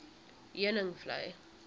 heuningvlei